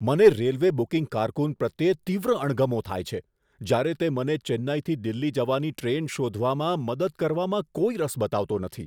મને railway booking કારકુન પ્રત્યે તીવ્ર અણગમો થાય છે જ્યારે તે મને ચેન્નઈથી દિલ્હી જવાની ટ્રેન શોધવામાં મદદ કરવામાં કોઈ રસ બતાવતો નથી.